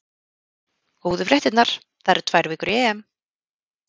Góðu fréttirnar: það eru tvær vikur í EM.